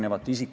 Seda me ei ole.